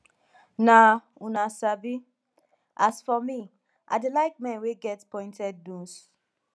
na una sabi as for me i dey like men wey get pointed nose